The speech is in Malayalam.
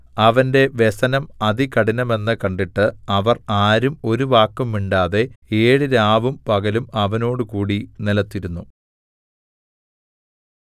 അവന്റെ വ്യസനം അതികഠിനമെന്ന് കണ്ടിട്ട് അവർ ആരും ഒരു വാക്കും മിണ്ടാതെ ഏഴ് രാവും പകലും അവനോടുകൂടി നിലത്തിരുന്നു